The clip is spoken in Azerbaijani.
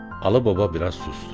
Alı baba biraz sustu.